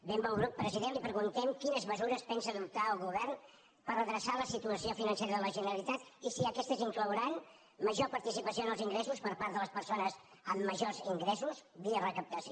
benvolgut president li preguntem quines mesures pensa adoptar el govern per redreçar la situació financera de la generalitat i si aquestes inclouran major participació en els ingressos per part de les persones amb majors ingressos via recaptació